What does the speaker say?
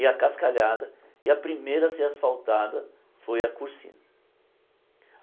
E acascalhada e a primeira a ser asfaltada foi a Cursina.